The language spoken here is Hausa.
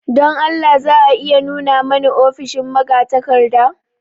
Don Allah za a iya nuna mani ofishin magatakarda?